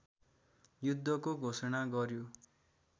युद्धको घोषणा गर्‍यो